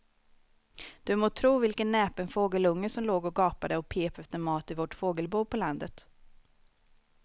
Du må tro vilken näpen fågelunge som låg och gapade och pep efter mat i vårt fågelbo på landet.